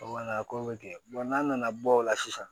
a ko bɛ kɛ n'a nana bɔ o la sisan